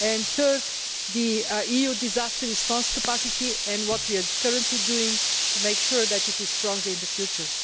Thirdly, the EU's disaster response capacity and what we are currently doing to make sure that it is stronger in the future.